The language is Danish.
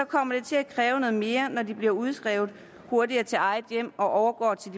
kommer det til at kræve noget mere når de bliver udskrevet hurtigere til eget hjem og overgår til